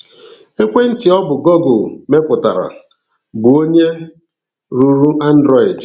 Ekwentị ọ bụ Google mepụtara, bụ onye rụrụ Android.